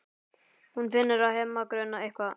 Hún finnur að Hemma grunar eitthvað.